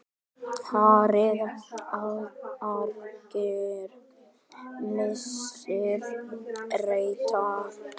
HÁRIÐ argir ýmsir reyta.